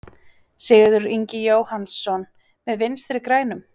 Sigurður Ingi Jóhannsson: Með Vinstri-grænum?